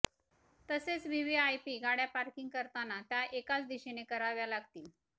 तसेच व्हीव्हीआयपी गाड्या पार्किंग करताना त्या एकाच दिशेने कराव्या लागतील